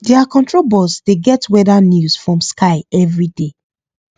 their control box dey get weather news from sky every day